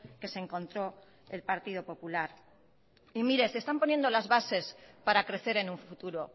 que se encontró el partido popular y mire se están poniendo las bases para crecer en un futuro